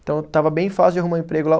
Então, estava bem fácil de arrumar emprego lá.